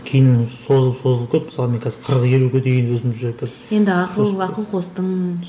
кейін созылып созылып кетті мысалы мен қазір қырық елуге дейін өзімді уже бір енді ақыл ақыл қостың